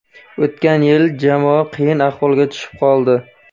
O‘tgan yil jamoa qiyin ahvolga tushib qoldi.